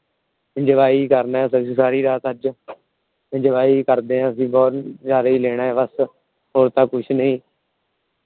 Enjoy ਕਰਨਾ ਅਸੀਂ ਸਾਰੀ ਰਾਤ ਅੱਜ। Enjoy ਈ ਕਰਦੇ ਬਸ ਨਜ਼ਾਰਾ ਏ ਲੈਣਾ ਬਸ । ਹੋਰ ਤਾਂ ਕੁਛ ਨਹੀਂ।